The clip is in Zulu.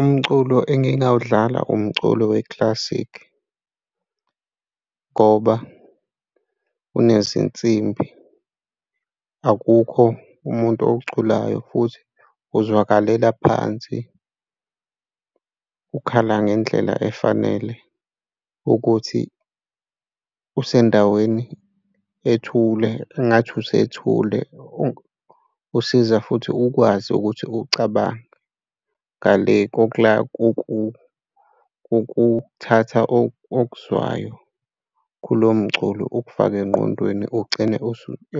Umculo engingawudlala umculo we-classic ngoba unezinsimbi, akukho umuntu owuculayo futhi, uzwakalela phansi, ukhala ngendlela efanele ukuthi usendaweni ethule engathi usethule, usiza futhi ukwazi ukuthi ucabange ngale kokuthatha okuzwayo kulo mculo ukufake engqondweni ugcine